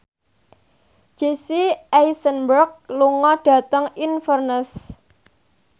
Jesse Eisenberg lunga dhateng Inverness